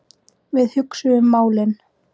Við hugsuðum málin.